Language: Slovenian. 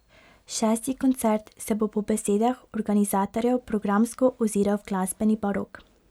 Šesti koncert se bo po besedah organizatorjev programsko oziral v glasbeni barok.